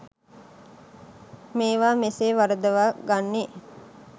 මේවා මෙසේ වරදවා ගන්නේ